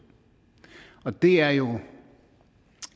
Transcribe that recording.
og det er jo